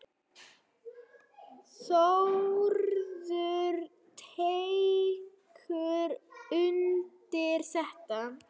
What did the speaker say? Þórður tekur undir þetta.